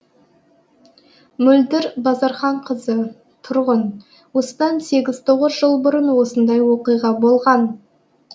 мөлдір базарханқызы тұрғын осыдан сегіз тоғыз жыл бұрын осындай оқиға болған